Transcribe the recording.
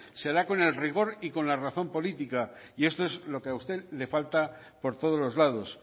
se hará con el rigor y con la razón política y esto es lo que a usted le falta por todos los lados